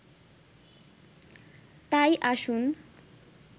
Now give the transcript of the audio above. তাই আসুন